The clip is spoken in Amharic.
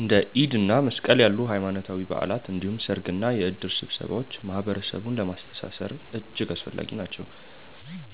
እንደ ኢድ እና መስቀል ያሉ ሃይማኖታዊ በዓላት እንዲሁም ሰርግና የእድር ስብሰባዎች ማህበረሰቡን ለማስተሳሰር እጅግ አስፈላጊ ናቸው።